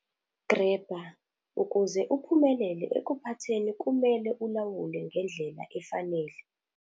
Grabber- Ukuze uphumelele ekuphatheni kumele ulawule ngendlela efanele.